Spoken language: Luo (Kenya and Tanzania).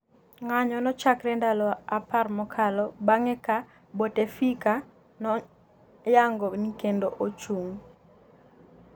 ng'anyo nochakre ndalo apar mokalo bang'e ka Boutefika noyango nikendo ochung'